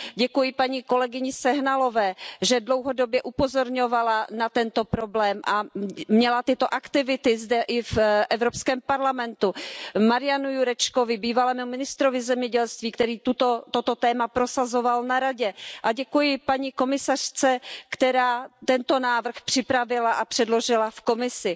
Děkuji paní kolegyni Sehnalové, že dlouhodobě upozorňovala na tento problém a měla tyto aktivity i zde v Evropském parlamentu, Marianu Jurečkovi, bývalému ministrovi zemědělství, který toto téma prosazoval na Radě, a děkuji paní komisařce, která tento návrh připravila a předložila v Evropské komisi.